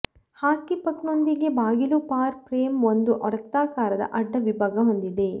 ಹಾಕಿ puck ನೊಂದಿಗೆ ಬಾಗಿಲು ಫಾರ್ ಫ್ರೇಮ್ ಒಂದು ವೃತ್ತಾಕಾರದ ಅಡ್ಡ ವಿಭಾಗ ಹೊಂದಿದೆ